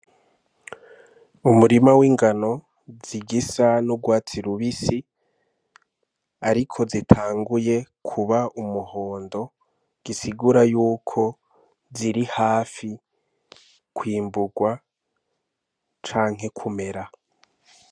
Umurima w'ingano zigisa n'urwatsi lubisi, ariko zitanguye kuba umuhondo gisigura yuko ziri hafi kwimburwa canke kumera.